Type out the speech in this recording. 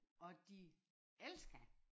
Og de elsker